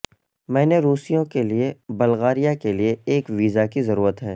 میں نے روسیوں کے لیے بلغاریہ کے لئے ایک ویزا کی ضرورت ہے